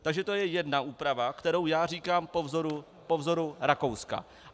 Takže to je jedna úprava, kterou já říkám po vzoru Rakouska.